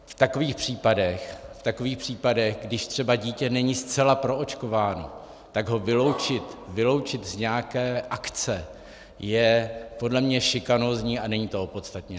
V takových případech, když třeba dítě není zcela proočkováno, tak ho vyloučit z nějaké akce, je podle mě šikanózní a není to opodstatněné.